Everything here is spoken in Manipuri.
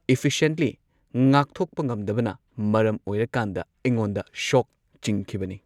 ꯏꯐꯤꯁꯦꯟꯠꯂꯤ ꯉꯥꯛꯊꯣꯛꯄ ꯉꯝꯗꯕꯅ ꯃꯔꯝ ꯑꯣꯏꯔꯀꯥꯟꯗ ꯑꯩꯉꯣꯟꯗ ꯁꯣꯛ ꯆꯤꯡꯈꯤꯕꯅꯤ꯫